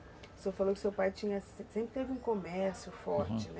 O senhor falou que seu pai tinha, sempre teve um comércio forte, né? Uhum.